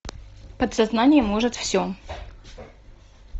подсознание может все